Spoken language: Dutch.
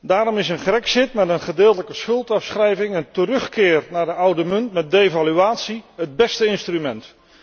Daarom is een grexit met een gedeeltelijke schuldafschrijving en terugkeer naar de oude munt met devaluatie het beste instrument.